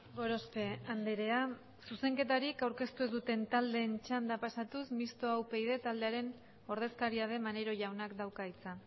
gorospe andrea zuzenketari aurkeztu ez duten taldeen txanda pasatuz mistoa upyd taldearen ordezkaria den maneiro jaunak dauka hitza